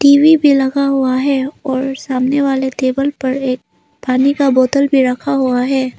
TV भी लगा हुआ है और सामने वाले टेबल पर एक पानी का बोतल भी रखा हुआ है।